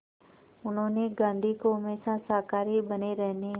उन्होंने गांधी को हमेशा शाकाहारी बने रहने